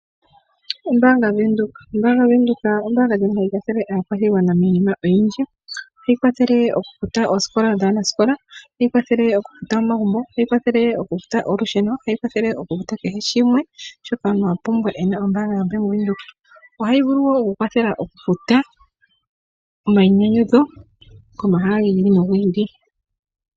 Ombaanga yaVenduka. Ombaanga yaVenduka ombaanga ndjono hayi kwathele aakwashigwana miinima oyindji . Ohayi kwathele okufuta oosikola dhaanasikola. Ohayikwathele okufuta omagumbl. Ohayi kwathele okufuta olusheno. Ohayi kwathele okufuta kehe shimwe shoka omuntu apumbwa ena ombaanga yaVenduka. Ohayi vulu woo okukwathela okufuta omayinyanyudho komahala gi ili nogi ili.